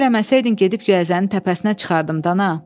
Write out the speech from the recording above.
Siftə eləməsəydin gedib göyəzənin təpəsinə çıxardım Dana.